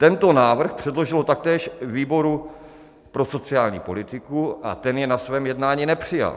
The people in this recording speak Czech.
Tento návrh předložilo taktéž výboru pro sociální politiku a ten jej na svém jednání nepřijal.